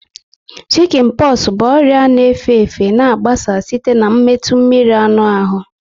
Shikin poxu bụ ọrịa na efe efe na agbasa site na metụ mmiri anụ ahụ